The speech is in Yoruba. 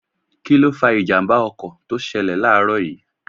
Kíló fa ìjàmbá ọkọ̀ tó ṣẹlẹ̀ láàrọ̀ yìí